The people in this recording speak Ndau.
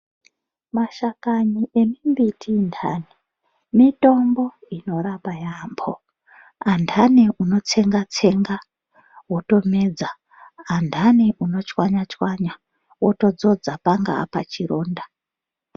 Mashakani emibiti inhani mitombo inorapa yamho yanhani unotsenga tsenga wotomedza anhani unochwanyachwanya wotodzodza panga pachironda.